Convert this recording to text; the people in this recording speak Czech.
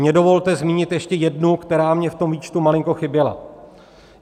Mně dovolte zmínit ještě jednu, která mně v tom výčtu malinko chyběla.